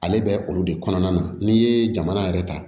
Ale bɛ olu de kɔnɔna na n'i ye jamana yɛrɛ ta